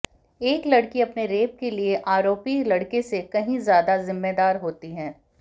एक लड़की अपने रेप के लिए आरोपी लड़के से कहीं ज्यादा जिम्मेदार होती है